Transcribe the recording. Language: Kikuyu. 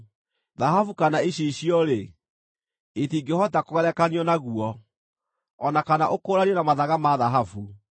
Thahabu kana icicio-rĩ, itingĩhota kũgerekanio naguo; o na kana ũkũũranio na mathaga ma thahabu.